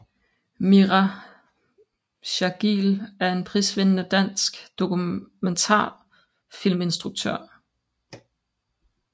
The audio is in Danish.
Mira Jargil er en prisvindende dansk dokumentarfilminstruktør